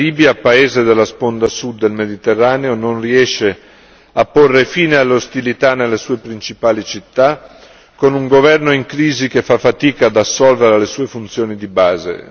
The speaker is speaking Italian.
La Libia, paese della sponda Sud del Mediterraneo, non riesce a porre fine alle ostilità nelle sue principali città, con un governo in crisi che fa fatica ad assolvere alle sue funzioni di base.